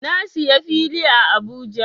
Na siya fili a Abuja.